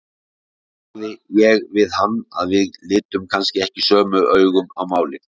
Þá sagði ég við hann að við litum kannski ekki sömu augum á málin.